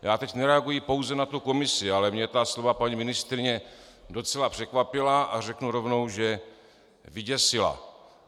Já teď nereaguji pouze na tu komisi, ale mě ta slova paní ministryně docela překvapila a řeknu rovnou, že vyděsila.